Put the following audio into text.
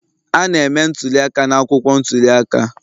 A na-eme ntuli aka n'akwụkwọ ntuli aka